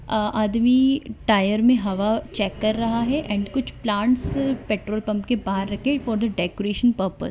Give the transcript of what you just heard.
अ अ आदमी टायर में हवा चेक कर रहा है एंड कुछ प्लांट्स पेट्रोल पंप के बाहर रखें फॉर द डेकोरेशन पर्पस |